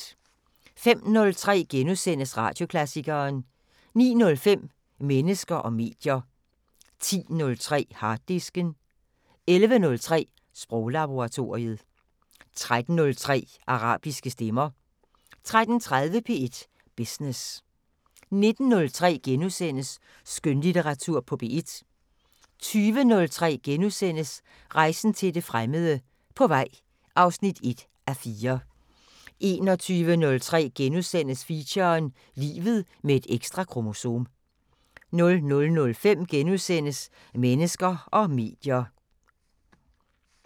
05:03: Radioklassikeren * 09:05: Mennesker og medier 10:03: Harddisken 11:03: Sproglaboratoriet 13:03: Arabiske stemmer 13:30: P1 Business 19:03: Skønlitteratur på P1 * 20:03: Rejsen til det fremmede: På vej (1:4)* 21:03: Feature: Livet med et ekstra kromosom * 00:05: Mennesker og medier *